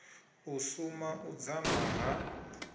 u suma u dzama ha